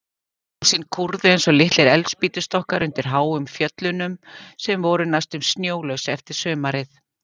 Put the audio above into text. Húsin kúrðu eins og litlir eldspýtustokkar undir háum fjöllunum, sem voru næstum snjólaus eftir sumarið.